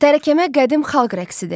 Tərəkəmə qədim xalq rəqsidir.